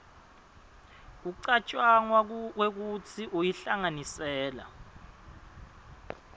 kucatjangwa kwekutsi uyihlanganisela